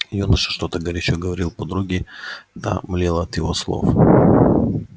юноша что-то горячо говорил подруге та млела от его слов